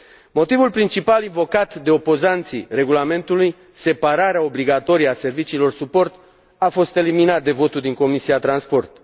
Motivul principal invocat de opozanții regulamentului, separarea obligatorie a serviciilor suport, a fost eliminat de votul din Comisia pentru transport.